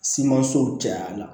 Simanso cayara